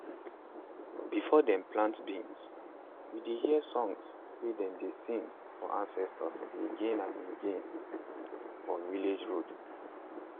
before dem plant beans we dey hear song way dem dey sing for ancestors again and again for village road.